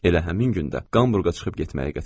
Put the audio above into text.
Elə həmin gündə Hamburqa çıxıb getməyi qət elədim.